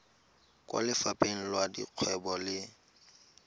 kwa lefapheng la dikgwebo le